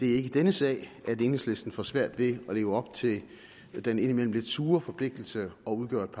er i denne sag at enhedslisten får svært ved at leve op til den indimellem lidt sure forpligtelse at udgøre et